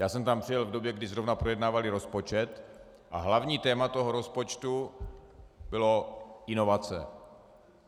Já jsem tam přijel v době, kdy zrovna projednávali rozpočet, a hlavní téma toho rozpočtu bylo inovace.